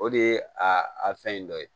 O de ye a a fɛn in dɔ ye